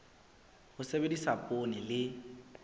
ho sebedisa poone e le